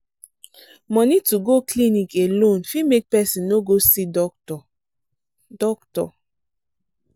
money to go clinic alone fit make person no go see doctor. doctor.